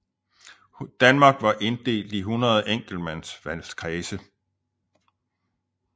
Danmark var inddelt i 100 enkeltmandsvalgkredse